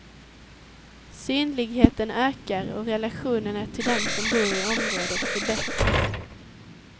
Synligheten ökar, och relationerna till dem som bor i området förbättras.